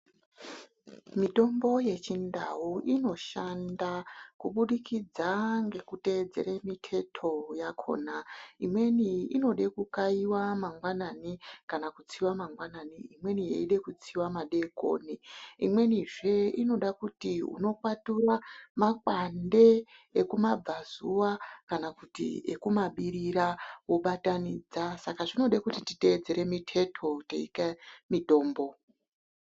Mutombo yechindau inoshanda kubudikidza ngekutedzere miteto yakona. Imweni inode kukaiva mangwanani kana kutsiva mangwanani. Imweni yeide kutsiva madekoni imwenizve inode kuti vokwatura makwande ekumabhazuva kana kuti ekumabirira vobatanidza. Saka zvinoda kuti titedzere miteto teikaya mitombo.